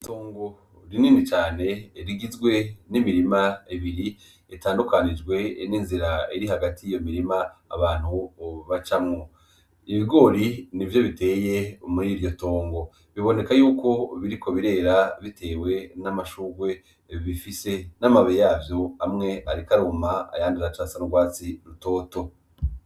Itongo rinini cane rigizwe n'imirima ibiri itandukanijwe ninzira iri hagati yiyo mirima abantu bacamwo, ibigori nivyo biteye muriryo tongo biboneka yuko biriko birera bitewe n'amashurwe bifise n'amababi yavyo amwe ariko aruma ayandi aracasa nurwatsi rutoto